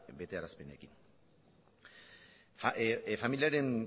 betearazpenekin familiaren